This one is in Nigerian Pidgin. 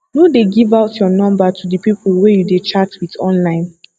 no dey give out your number to the people wey you dey chat with online